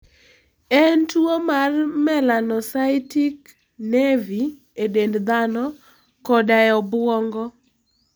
En tuwo mar melanocytic nevi e dend dhano koda e obwongo.